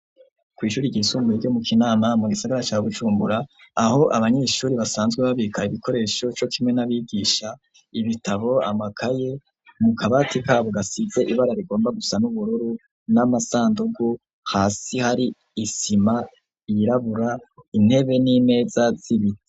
Kw' ishuri ryisumbuye ryo mu Kinama mu gisigara ca Bujumbura aho abanyeshuri basanzwe babika ibikoresho co kimwe n'abigisha ibitabo amakaye, mu kabati kabo gasize ibara rigomba gusana n'ubururu n'amasandugu hasi hari isima yirabura, intebe n'imeza z'ibiti.